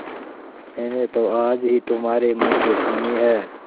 मैंने तो आज ही तुम्हारे मुँह से सुनी है